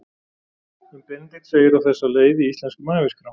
Um Benedikt segir á þessa leið í Íslenskum æviskrám